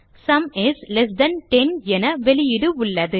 sum is less than 10 என வெளியீடு உள்ளது